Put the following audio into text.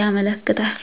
ያመለክታል